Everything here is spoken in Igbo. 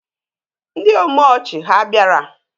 Ndị omeọchị ha bịara?